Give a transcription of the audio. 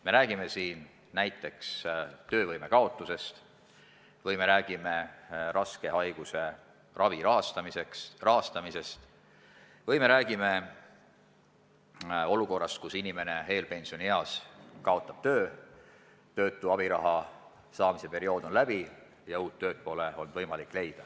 Me räägime siin näiteks töövõime kaotusest, raske haiguse ravi rahastamisest ja olukorrast, kus inimene eelpensionieas kaotab töö, töötu abiraha saamise periood saab läbi ja uut tööd pole olnud võimalik leida.